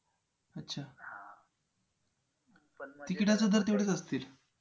अच्छा तिकिटाचे दर तेवढेच असतील.